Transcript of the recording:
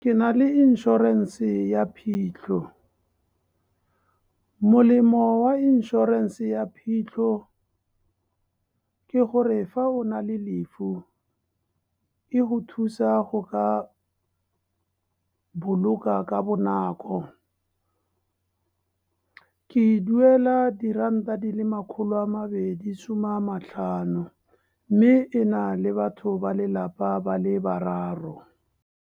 Ke na le inšorense ya phitlho, molemo wa inšorense ya phitlho ke gore, fa o na le lefu e go thusa go ka boloka ka bonako. Ke duela diranta di le makgolo a mabedi, some a matlhano. Mme e na le batho ba lelapa, ba le bararo.